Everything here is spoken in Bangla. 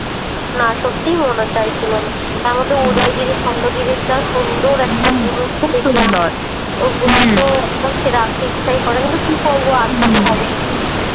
না সত্যিই মন আর চাইছিলো না । তারমধ্যে উদয়গিরী খণ্ডগিরীর যা সুন্দর একটা জিনিস দেখলাম। খুব সুন্দর ওগুলো তো একদম ছেড়ে আসতেই ইচ্ছা করেনি, কিন্তু কি করবো আসতে তো হবেই।